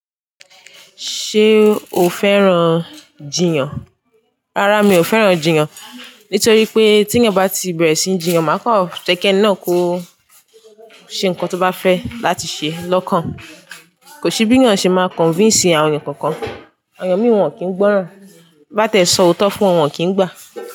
Ṣé o fẹ́ràn jiyàn? Rárá mi ò fẹ́ràn jiyàn. Nítorí pé tí ẹeyan bá ti bẹ̀rẹ̀ síí jiyàn, máa kọ̀ jẹ́ kí ẹni náà kó ṣe nǹkan tó bá fẹ́ láti ṣe lọ́kàn. Kò sí bí ẹniyan ṣe máa convince àwọn ènìyàn kankan. Àwọn ènìyàn mìí won kì ń gbọ́ràn. Bá tẹ sọ òótọ́ fún wọn, wọ́n kì í gbà.